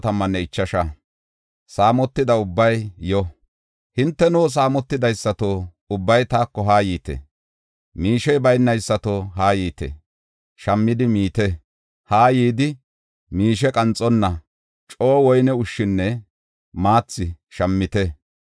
Hinteno, saamotidaysato, ubbay taako haa yiite; miishey baynaysato, haa yiite. Shammidi miite; haa yidi, miishe qanxonna coo woyne ushshinne maathi shammite.